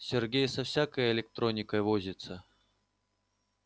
сергей со всякой электроникой возится